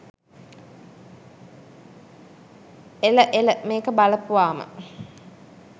එල එල මේක බලපුවාම